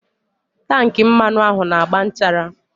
Tankị mmanụ ahụ na-agba nchara.